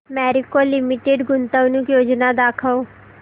Marico limited गुंतवणूक योजना दाखव